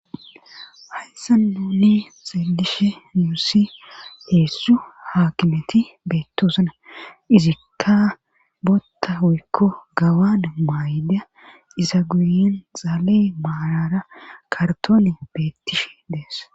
Hayssa nuni xeelishe nuusi heessu haakimeti beettoosana izikka botta huykko gawan maayda iza guyin xaalee maalara kartone beettish dees